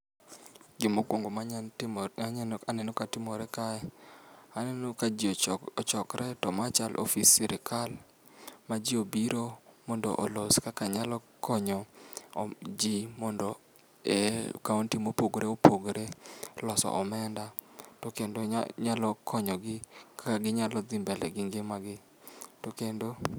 Gima okuongo manya timo maneno ka timore ka, aneno ka ji ochokre to mae chalo office sirkal, maji obiro mondo olos kaka nyalo konyo ji mondo e kaonti mopogore opogore loso omenda to kendo nyalo konyogi kaka ginyalo dhi mbele gi ngima gi. To kendo